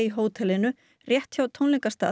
hótelinu rétt hjá